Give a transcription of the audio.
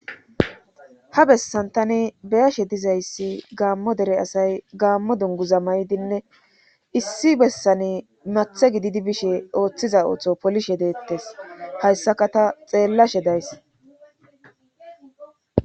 ha bessan tani beyashe dizayssi gaammo dere asay gaammo dungu za maydinne issi bessani mathe gididi bishe ooththiza ooththo polishe deettes hayssaka ta xeellashe days